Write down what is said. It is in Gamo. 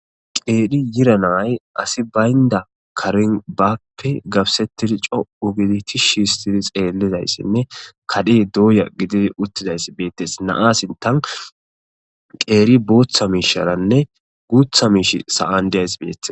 qeedhi yiranay asi baynda karin baape gabsettidi co ugiditishi histidi xeellidayssinne kadhe dooya gididi uttizayss beettes naasintan qeeri booththa miisharanne guutha miish sa7an diyayss beethes